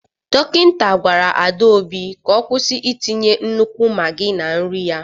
Dọkịta gwara Adaobi ka ọ kwụsị itinye nnukwu maggi na nri ya.